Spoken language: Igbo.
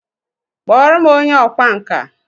Kpọọ m onye ọkwá nkà!